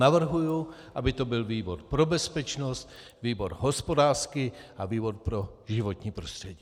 Navrhuji, aby to byl výbor pro bezpečnost, výbor hospodářský a výbor pro životní prostředí.